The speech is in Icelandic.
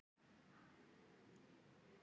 Svona er amma.